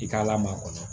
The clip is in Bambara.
I k'a lamaga kɔnɔ